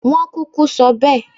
Wọ́n kúkú sọ bẹ́ẹ̀